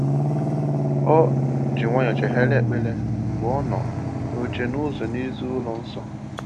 O ji nwayọ chegharịa ekpere mgbe ọ nọ n’oche n’ụzọ n’èzí ụlọ nsọ.